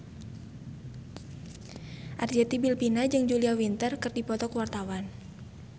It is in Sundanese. Arzetti Bilbina jeung Julia Winter keur dipoto ku wartawan